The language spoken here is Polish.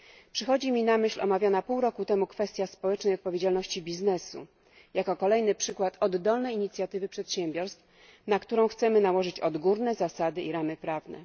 Przychodzi mi na myśl omawiana pół roku temu kwestia społecznej odpowiedzialności przedsiębiorstw, będąca kolejnym przykładem oddolnej inicjatywy przedsiębiorstw, na którą chcemy nałożyć odgórne zasady i ramy prawne.